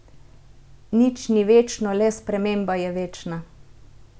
Nič ni večno, le sprememba je večna.